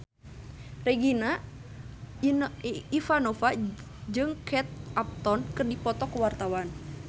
Regina Ivanova jeung Kate Upton keur dipoto ku wartawan